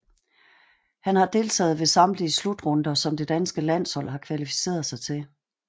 Han har deltaget ved samtlige slutrunder som det danske landshold har kvalificeret sig til